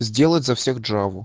сделать за всех джаву